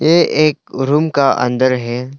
ये एक रूम का अंदर है।